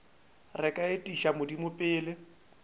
re ka etiša modimo pele